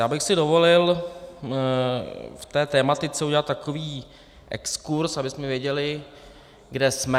Já bych si dovolil v té tematice udělat takový exkurz, abychom věděli, kde jsme.